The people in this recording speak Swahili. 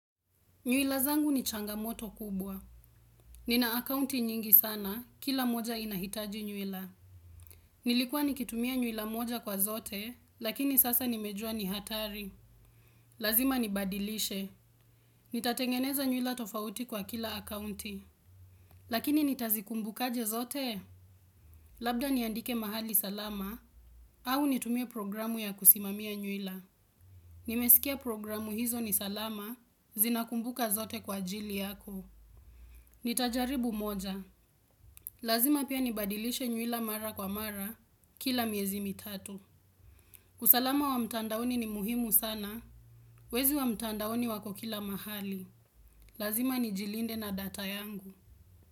Nywila zangu ni changamoto kubwa. Nina akaunti nyingi sana, kila moja inahitaji nywila. Nilikuwa nikitumia nywila moja kwa zote, lakini sasa nimejua ni hatari. Lazima nibadilishe. Nitatengeneza nywila tofauti kwa kila akaunti. Lakini nitazikumbuka aje zote? Labda niandike mahali salama, au nitumie programu ya kusimamia nywila. Nimesikia programu hizo ni salama, zinakumbuka zote kwa ajili yako. Nitajaribu moja. Lazima pia nibadilishe nywila mara kwa mara kila miezi mitatu. Usalama wa mtandaoni ni muhimu sana. Wezi wa mtandaoni wako kila mahali. Lazima ni jilinde na data yangu.